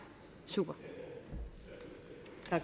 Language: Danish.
super